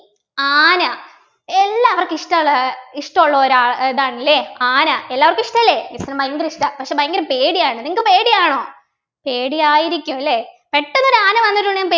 ആന എല്ലാവർക്കും ഇഷ്ടമുള്ള ഇഷ്ടമുള്ള ഒരു അഹ് ഇതാണല്ലേ ആന എല്ലാവർക്കും ഇഷ്ടല്ലേ miss നും ഭയങ്കര ഇഷ്ടാ പക്ഷെ ഭയങ്കര പേടിയാണ് നിങ്ങൾക്ക് പേടിയാണോ പേടിയായിരിക്കും അല്ലേ പെട്ടെന്ന് ഒരു ആന വന്നിട്ടുണ്ടെങ്കി